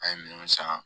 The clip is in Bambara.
An ye minnu san